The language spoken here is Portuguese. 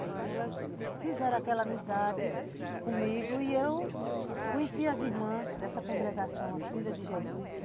Aí elas fizeram aquela amizade comigo e eu conheci as irmãs dessa congregação, as filhas de Jesus.